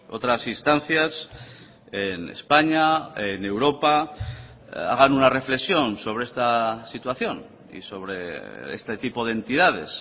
otras instancias en españa en europa hagan una reflexión sobre esta situación y sobre este tipo de entidades